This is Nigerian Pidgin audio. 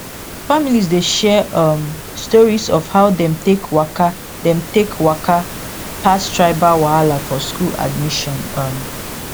families dey share um stories of how dem take waka dem take waka pass tribal wahala for school admission um